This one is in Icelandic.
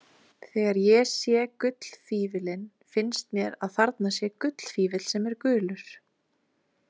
Þegar ég sé gullfífillinn finnst mér að þarna sé gullfífill sem er gulur.